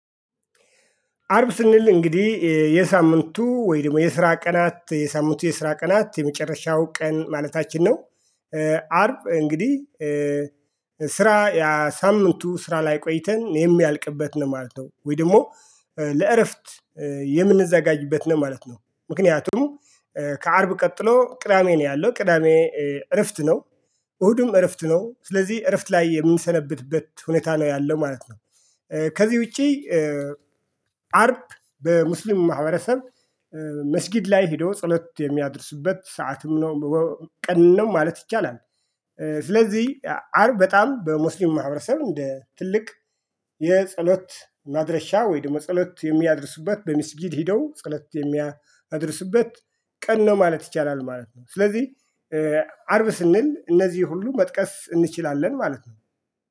አርብ ስንል እንግዲህ የሳምንቱ ወይ ደግሞ የስራ ቀናት የሳምንቱ የስራ ቀናት የመጨረሻው ቀን ማለትአችን ነው። አርብ እንግዲህ። ስራ ሳምንቱ ስራ ላይ ቆይተን የሚያልቅበት ነው ማለት ነው ወይ ደግሞ ለእረፍት የምንዘጋጅበት ነው ማለት ነው። ምክንያቱም ከአርብ ቀጥሎ ቅዳሜ ነው ያለው ቅዳሜ እረፍት ነው። እሁድም እረፍት ነው ስለዚህ እረፍት ላይ የሚሰነብትበት ሁኔታ ነው ያለው ማለት ነው። ከዚህ ውጪ። አርብ በሙስሊም ማህበረሰብ መስጊድ ላይ ሄዶ ጸሎት የሚያደርሱበት ሰዓትም ነው። ቀን ነው ማለት ይቻላል። ስለዚህ አርብ በጣም በሙስሊም ማህበረሰብ እንደ ትልቅ የጸሎት ማድረሻ ወይም ጸሎት የሚያደርሱበት በሚስጂድ ሄደው ጸሎት የሚያደርሱበት ቀን ነው ማለት ይቻላል ማለት ነው። ስለዚህ አርብ ስንል እነዚህ ሁሉ መጥቀስ እንችላለን ማለት ነው